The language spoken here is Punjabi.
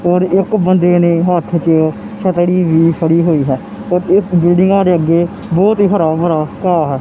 ਔਰ ਇੱਕ ਬੰਦੇ ਨੇ ਹੱਥ ਚ ਛਤਰੀ ਵੀ ਫੜੀ ਹੋਈ ਹੈ ਤੇ ਇੱਕ ਜੂੜੀਓ ਦੇ ਅੱਗੇ ਬਹੁਤ ਹੀ ਹਰਾ ਭਰਾ ਘਾਹ ਹੈ।